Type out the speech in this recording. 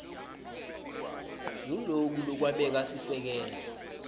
nguloku lokwabeka sisekelo